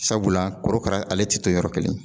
Sabula korokara ale tɛ to yɔrɔ kelen